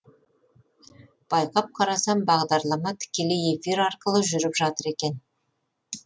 байқап қарасам бағдарлама тікелей эфир арқылы жүріп жатыр екен